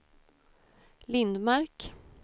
Lindmark